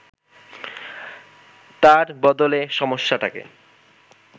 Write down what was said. তার বদলে সমস্যাটাকে